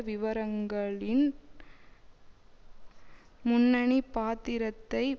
விவரங்களின் முன்னணி பாத்திரத்தை